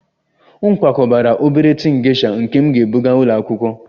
M kwakọbara obere tin gesha nke m ga-ebụga ụlọ akwụkwọ